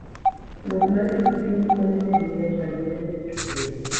Wuoth mar pikipiki konyo ji ng'eyo chandruoge ma yuto kelo.